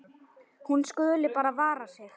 Hún skuli bara vara sig.